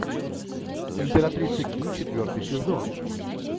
императрица ки четвертый сезон